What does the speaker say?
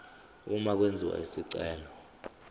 uma kwenziwa isicelo